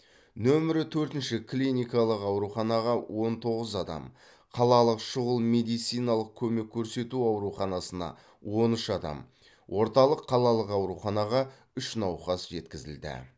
нөмірі төртінші клиникалық ауруханаға он тоғыз адам қалалық шұғыл медициналық көмек көрсету ауруханасына он үш адам орталық қалалық ауруханаға үш науқас жеткізілді